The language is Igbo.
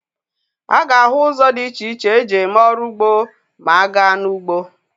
A ga-ahụ ụzọ dị iche iche e ji eme ọrụ ugbo ma a gaa n'ugbo.